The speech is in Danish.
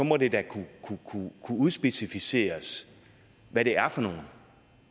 må det da kunne udspecificeres hvad det er for nogle